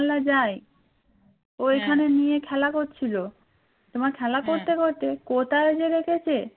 কোথায় যে রেখেছে